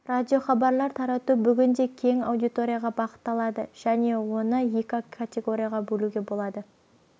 радиохабар тарату бүгінде кең аудиторияға бағытталады және оны екі категорияға бөлуге болады